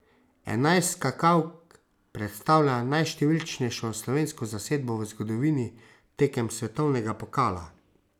Enajst skakalk predstavlja najštevilčnejšo slovensko zasedbo v zgodovini tekem svetovnega pokala.